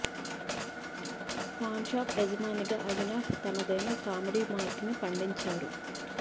pan shop యాజమానిగా అవినాష్ తనదైన comedy mark ని పండించారు